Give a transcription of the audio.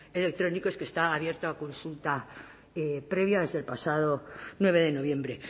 electrónicos que está abierto a consulta previa desde el pasado nueve de noviembre